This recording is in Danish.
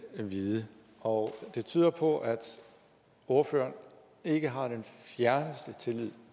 vide og det tyder på at ordføreren ikke har den fjerneste tillid